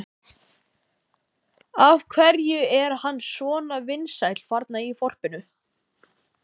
Af hverju er hann svona vinsæll þarna í þorpinu?